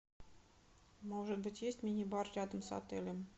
может быть есть мини бар рядом с отелем